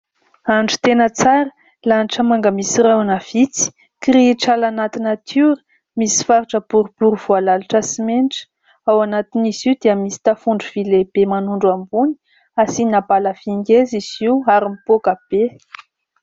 Andro tena tsara, lanitra manga misy rahona vitsy, kirihitr'ala anaty natiora, misy faritra boribory voalalotra simenitra. Ao anatin'izy io dia misy tafondro vỳ lehibe manondro ambony, asiana bala vỳ ngeza izy io ary mipoaka be.